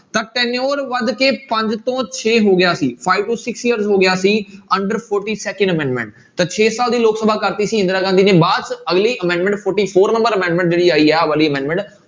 ਤਾਂ tenure ਵੱਧ ਕੇ ਪੰਜ ਤੋਂ ਛੇ ਹੋ ਗਿਆ ਸੀ five to six year ਹੋ ਗਿਆ ਸੀ under forty second amendment ਤਾਂ ਛੇ ਸਾਲ ਦੀ ਲੋਕ ਸਭਾ ਕਰ ਦਿੱਤੀ ਸੀ ਇੰਦਰਾ ਗਾਂਧੀ ਨੇ, ਬਾਅਦ 'ਚ ਅਗਲੀ amendment forty four number amendment ਜਿਹੜੀ ਆਈ ਹੈ ਆਹ ਵਾਲੀ amendment